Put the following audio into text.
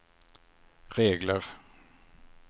regler